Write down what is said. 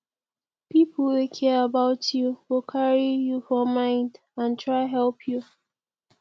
pipo wey care about you go carry you for mind and try help you